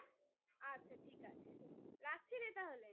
আচ্ছা ঠিক আছে রাখছিরে তাহলে